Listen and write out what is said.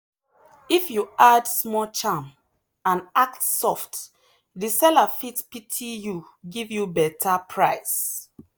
if you add small charm and act soft the seller fit pity you give you better price.